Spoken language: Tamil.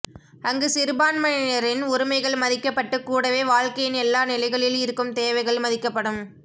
அங்கு சிறுபான்மையினரின் உரிமைகள் மதிக்கப்பட்டு கூடவே வாழ்க்கையின் எல்லா நிலைகளில் இருக்கும் தேவைகள் மதிக்கப்படும்